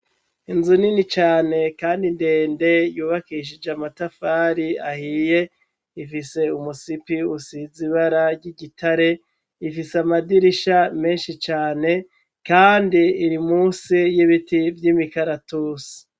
Inzu nini cane kandi ndende, yubakishije amatafari ahiye, ifise umusipi usize ibara ry'igitare, ifise amadirisha menshi cane kandi iri musi y'ibiti vy'imikaratusi.